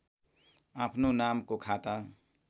आफ्नो नामको खाता